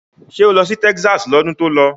Ṣé o lọ sí Texas lọ́dún tó lọ?